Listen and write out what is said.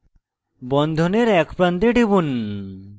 বন্ধনের edge প্রান্তে টিপুন